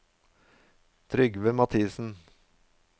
Trygve Mathisen